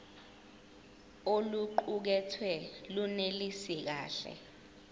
oluqukethwe lunelisi kahle